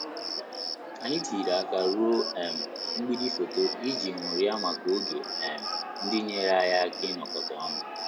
Anyị tinyere aka ruo um mgbidi foto iji ṅụrịa maka oge um ndị nyere anyị aka inokota onu